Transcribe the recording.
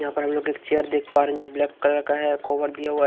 यहाँ पर हम लोग एक चेयर देख पा रहे हैं जो ब्लैक कलर का है कोवर दिया हुआ है।